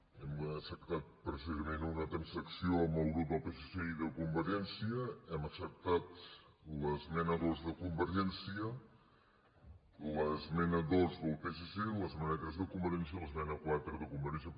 hem acceptat precisament una transacció amb el grup del psc i de convergència hem acceptat l’esmena dos de convergèn·cia l’esmena dos del psc l’esmena tres de convergència i l’esmena quatre de convergència